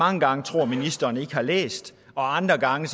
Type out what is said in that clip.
mange gange tror ministeren ikke har læst og andre gange